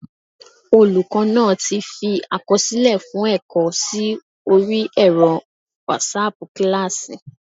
Olùkọ́ náa ti fi àkọsílẹ̀ fún ẹ̀kọ́ sí orí ẹ̀rọ wásaàpù kílásì